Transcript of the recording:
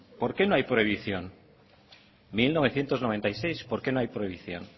por qué no hay prohibición mil novecientos noventa y seis por qué no hay prohibición